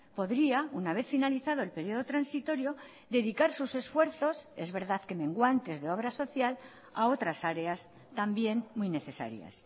podría una vez finalizado el periodo transitorio dedicar sus esfuerzos es verdad que menguantes de obras social a otras áreas también muy necesarias